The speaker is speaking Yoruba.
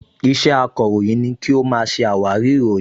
Iṣẹ́ akọ̀ròyìn ni kí ó máa ṣe àwárí ìròyìn